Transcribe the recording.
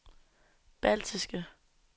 baltiske